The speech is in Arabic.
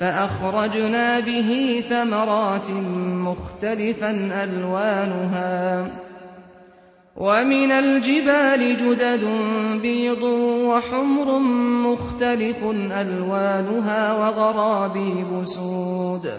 فَأَخْرَجْنَا بِهِ ثَمَرَاتٍ مُّخْتَلِفًا أَلْوَانُهَا ۚ وَمِنَ الْجِبَالِ جُدَدٌ بِيضٌ وَحُمْرٌ مُّخْتَلِفٌ أَلْوَانُهَا وَغَرَابِيبُ سُودٌ